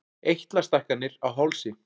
Eitlastækkanir á hálsi.